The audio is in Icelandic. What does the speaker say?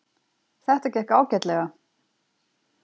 Þetta gekk ágætlega.